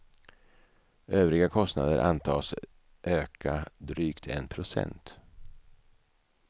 Övriga kostnader antas öka drygt en procent.